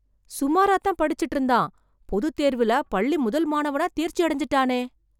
சுமாரா தான் படிச்சுட்டு இருந்தான், பொதுத் தேர்வுல பள்ளி முதல் மாணவனா தேர்ச்சி அடைஞ்சுட்டானே.